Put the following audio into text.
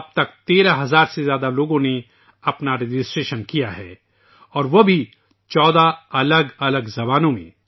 اب تک 13 ہزار سے زائد افراد نے اس مہم کے لیے اپنا اندراج کرایا ہے اور وہ بھی 14 مختلف زبانوں میں